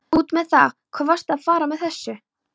Út með það, hvað varstu að fara með þessu?